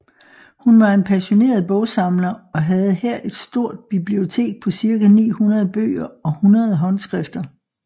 Hun var en passioneret bogsamler og havde her et stort bibliotek på cirka 900 bøger og 100 håndskrifter